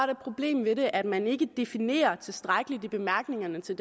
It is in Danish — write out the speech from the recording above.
det problem i det at man ikke definerer tilstrækkeligt i bemærkningerne til